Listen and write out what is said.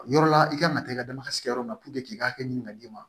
Yɔrɔ la i kan ka taa i ka dama sigi yɔrɔ min na puruke k'i ka hakɛ ɲini ka d'i ma